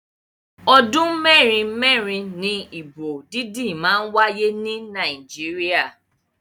Ọdún mẹ́rin mẹ́rin ni ìbò dídí ń wáyé ni Nàìjíríà.